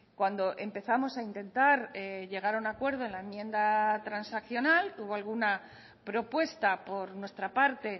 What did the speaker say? cuando empezamos a intentar llegar a un acuerdo en la enmienda transaccional hubo alguna propuesta por nuestra parte